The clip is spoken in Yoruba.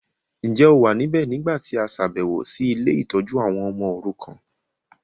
Njẹ́ o wa níbẹ̀ nígbàtí a ṣàbẹ̀wọ̀ si ile-itójú àwon ọmọ orukan?